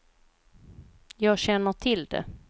Jag känner till det.